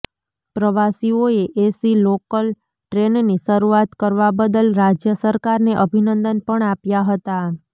પ્રવાસીઓએ AC local ટ્રેનની શરૂઆત કરવા બદલ રાજ્ય સરકારને અભિનંદન પણ આપ્યાં હતાં